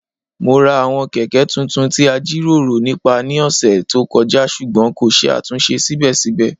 Mo ra àwọn Kẹ̀kẹ́ tuntun ti a jiroro nipa ní ọsẹ to kọja ṣugbọn ko ṣe atunṣe sibẹsibẹ.